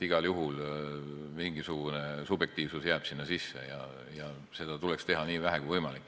Igal juhul jääb mingisugune subjektiivsus sinna sisse ja seda tuleks teha nii vähe, kui võimalik.